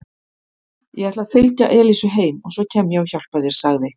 Ég ætla að fylgja Elísu heim og svo kem ég og hjálpa þér sagði